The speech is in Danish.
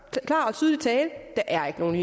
er ikke nogen